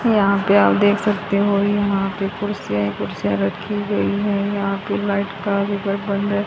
और यहां पे आप देख सकते हैं। यहां पे कुर्सियां ही कुर्सिया रखी गई है। यहां की लाइट का भी--